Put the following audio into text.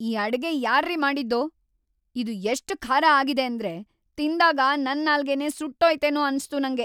ಈ ಅಡ್ಗೆ ಯಾರ್ರೀ ಮಾಡಿದ್ದು? ಇದು ಎಷ್ಟ್ ಖಾರ ಆಗಿದೆ ಅಂದ್ರೆ ತಿಂದಾಗ ನನ್‌ ನಾಲ್ಗೆನೇ ಸುಟ್ಟೋಯ್ತೇನೋ ಅನ್ಸ್ತು ನಂಗೆ.